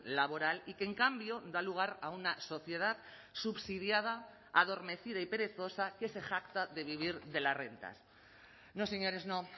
laboral y que en cambio da lugar a una sociedad subsidiada adormecida y perezosa que se jacta de vivir de las rentas no señores no